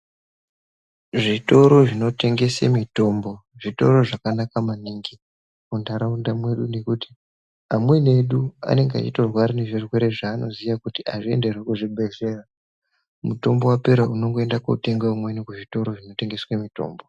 Zvitoro zvinotengese mitombo, zvitoro zvakanaka maningi, muntaraunda mwedu nekuti, amweni edu anonga eitorwara nezvirwere zveanoziye kuti azvienderwi kuzvibhedhlera . Mutombo wapera unongoenda kotenga umweni kuzvitoro zvinotengeswe mitombo.